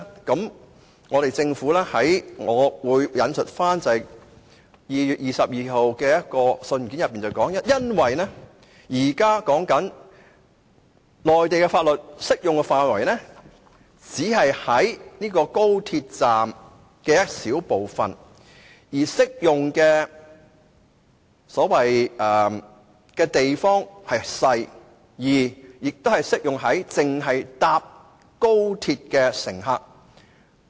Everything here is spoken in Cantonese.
根據一封於2月22日發出的信件內容，內地法律的適用範圍只限於高鐵站一小部分地方，涉及的面積不大，而且只適用於高鐵乘客。